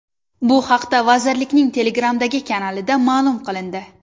Bu haqda vazirlikning Telegram’dagi kanalida ma’lum qilindi .